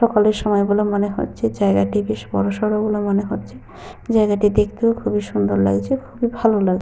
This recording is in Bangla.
সকালের সময় বলে মনে হচ্ছে। জায়গাটি বেশ বড়সড় বলে মনে হচ্ছে। জায়গাটি দেখতেও খুবই সুন্দর লাগছে খুবই ভালো লাগ--